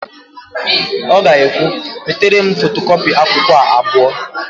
Ọ ga-ekwu, "metere m fotokọpị akwụkwọ a abụọ"!